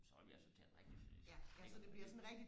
så vil vi altså tale rigtig sønderjysk iggå ikke